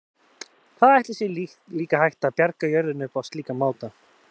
Hvað ætli sé líka hægt að bjarga jörðinni upp á slíkan máta?